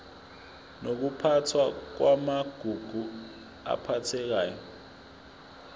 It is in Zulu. nokuphathwa kwamagugu aphathekayo